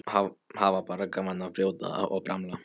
Hafa bara gaman af að brjóta og bramla.